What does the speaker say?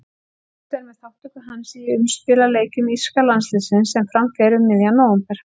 Óvíst er með þátttöku hans í umspilsleikjum írska landsliðsins sem fram fara um miðjan nóvember.